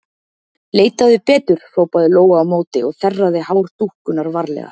Leitaðu betur, hrópaði Lóa á móti og þerraði hár dúkkunnar varlega.